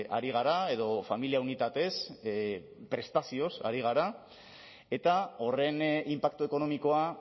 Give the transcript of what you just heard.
ari gara edo familia unitatez prestazioz ari gara eta horren inpaktu ekonomikoa